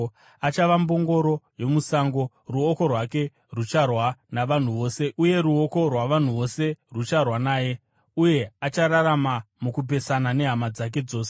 Achava mbongoro yomusango: ruoko rwake rucharwa navanhu vose uye ruoko rwavanhu vose rucharwa naye, uye achararama mukupesana nehama dzake dzose.”